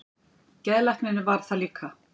Geðlæknirinn varð það líka.